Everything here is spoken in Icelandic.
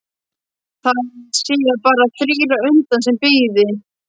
Það séu bara þrír á undan sem bíði.